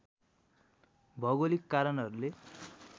भौगोलिक कारणहरूले